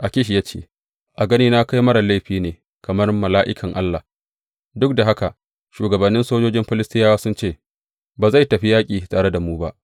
Akish ya ce, A ganina kai marar laifi ne kamar mala’ikan Allah, duk da haka shugabannin sojojin Filistiyawa sun ce, Ba zai tafi yaƙi tare da mu ba.’